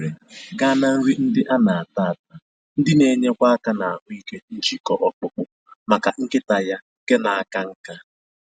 Ọ gbanwere ga na nri ndị ana-ata ata, ndị na-enyekwa aka na ahụike njikọ ọkpụkpụ, maka nkịta ya nke na aka nká